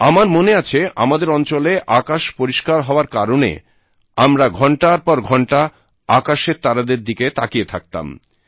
আমার মনে আছে আমাদের অঞ্চলে আকাশ পরিষ্কার হওয়ার কারণে আমরা ঘন্টার পর ঘন্টা আকাশের তারাদের দিকে তাকিয়ে থাকতাম